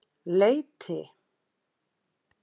Leiti